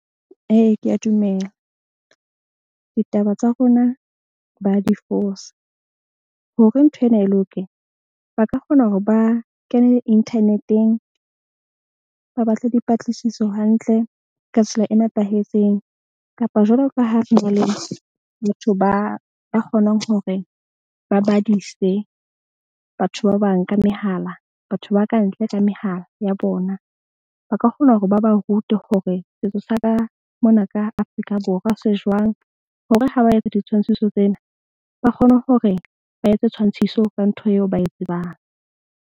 Ee, ke a dumela. Ditaba tsa rona ba di fosa hore nthwena e loke, ba ka kgona hore ba kene internet-eng ba batle dipatlisiso hantle ka tsela e nepahetseng. Kapa jwalo ka ha re na le batho ba kgonang hore ba badise batho ba bang ka mehala. Batho ba kantle ka mehala ya bona. Ba ka kgona hore ba ba rute hore setso sa ka mona ka Afrika Borwa se jwang. Hore ha ba etsa ditshwantshiso tsena, ba kgone hore ba etse tshwantshiso ka ntho eo ba e tsebang.